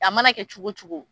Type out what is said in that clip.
A mana kɛ cogo cogo.